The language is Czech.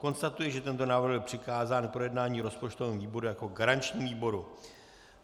Konstatuji, že tento návrh byl přikázán k projednání rozpočtovému výboru jako garančnímu výboru.